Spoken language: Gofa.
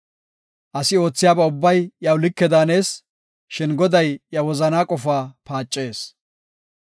Asi oothiyaba ubbay iyaw like daanees; shin Goday iya wozanaa qofaa paacees.